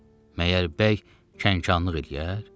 Məgər bəy kənxanlıq eləyər?